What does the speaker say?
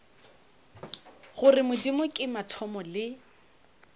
gore modimo ke mathomo le